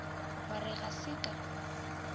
wa re ga se ka